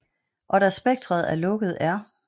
Og da spektret er lukket er